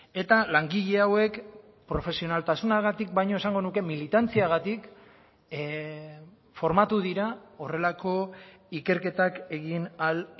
eta langile hauek profesionaltasunagatik baino esango nuke militantziagatik formatu dira horrelako ikerketak egin ahal